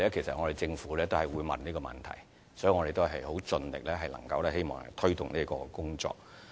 政府同樣也會問同一個問題，所以我們會盡力推動有關工作。